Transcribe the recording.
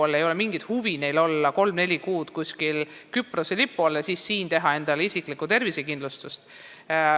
Neil ei ole mingit huvi olla kolm-neli kuud kuskil Küprose lipu all ja siis teha siin endale isiklikku tervisekindlustust.